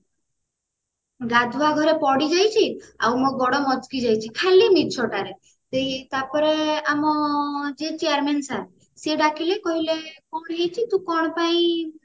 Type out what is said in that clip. ଗାଧୁଆ ଘରେ ପଡିଯାଇଛି ଆଉ ମୋ ଗୋଡ ମଚକି ଯାଇଛି ଖାଲି ମିଛ ଟାରେ ସେଇ ତାପରେ ଆମ ଯିଏ chairman sir ସିଏ ଡାକିଲେ କହିଲେ କଣ ହେଇଛି ତୁ କଣ ପାଇଁ